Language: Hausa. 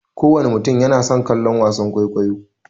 Kowana mutum yana son kallon wasan kwaikwayo.